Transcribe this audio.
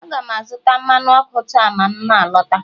A ga m azụta mmanụ ọkụ taa ma m na-alọta